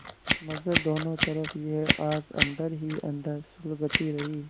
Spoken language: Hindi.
मगर दोनों तरफ यह आग अन्दर ही अन्दर सुलगती रही